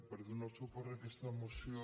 per donar suport a aquesta moció